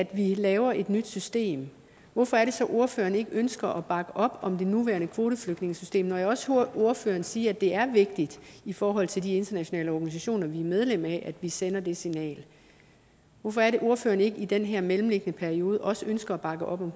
vi laver et nyt system hvorfor er det så ordføreren ikke ønsker at bakke op om det nuværende kvoteflygtningesystem når jeg også hører ordføreren sige at det er vigtigt i forhold til de internationale organisationer vi er medlem af at vi sender det signal hvorfor er det ordføreren ikke i den her mellemliggende periode også ønsker at bakke op